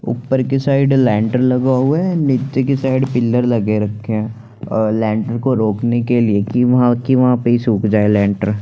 ऊपर की side lintel लगा हुआ हैं नीचे की साइड पिलर लगे रखे हैं और लेंटर को रोकने के लिए की की वहाँ पे सुख जाए लेंटर --